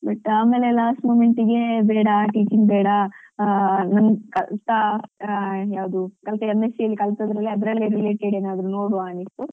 But ಆಮೇಲೆ last moment ಗೆ ಬೇಡ teaching ಬೇಡ ಆ ನಮ್ ಕಲ್ತಾ ಆ ಯಾವ್ದುಕಲ್ತಾ M. Sc. ಅಲ್ಲಿ ಅದ್ರಲ್ಲೇ related ಏನಾದ್ರು ನೋಡ್ವ ಅನಿಸ್ತು.